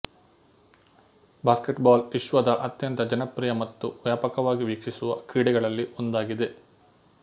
basketball ವಿಶ್ವದ ಅತ್ಯಂತ ಜನಪ್ರಿಯ ಮತ್ತು ವ್ಯಾಪಕವಾಗಿ ವೀಕ್ಷಿಸುವ ಕ್ರೀಡೆಗಳಲ್ಲಿ ಒಂದಾಗಿದೆ